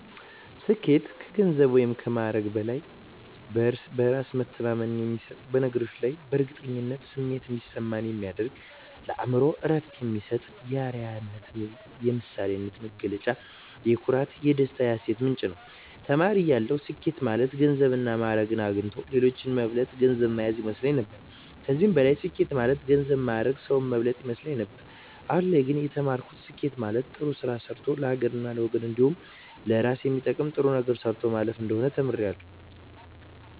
ስኬት ከገንዘብ ወይም ከማዕረግ በላይ በእራስ መተማመን የሚሰጥ በነገሮች ላይ የእርግጠኝነት ስሜት እንዲሰማ የሚያደርግ ለአእምሮ እረፍት የሚሰጥ የአረያነት የምሳሌነት መገለጫ የኩራት የደስታ የሀሴት ምንጭ ነዉ። ተማሪ እያለሁ ስኬት ማለት ገንዘብና ማእረግ አግኝቶ ሌሎችን መብለጥ ገንዘብ ማያዝ ይመስለኝ ነበር ከዚህም በላይ ስኬት ማለት ገንዘብ ማእረግ ሰዉን መብለጥ ይመስለኝ ነበር አሁን ላይ ግን የተማርኩት ስኬት ማለት ጥሩ ስራ ሰርቶ ለሀገርና ለወገን እንዲሁም ለእራስ የሚጠቅም ጥሩ ነገር ሰርቶ ማለፍ እንደሆነ ተምሬያለሁ።